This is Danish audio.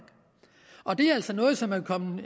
og det er altså noget som er kommet